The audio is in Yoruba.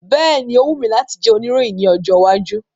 Bẹ́ẹ̀ni, o wù mí láti jẹ́ òníròyìn ní ọjọ́ iwájú.